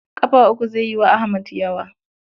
Ƙafa uku zai yi wa Ahmad yawa.